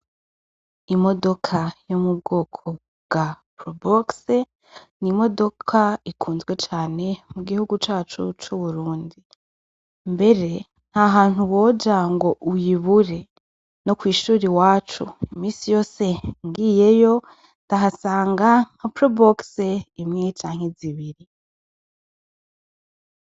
Imodoka yo mu bwoko bwa prubokse ni imodoka ikunzwe cane mu gihugu cacu c'uburundi, mbere nta hantu woja ngo uyibure no kw'ishura i wacu imisi yose ngiyeyo ndahasanga kaprobokse imweye canke zibiri.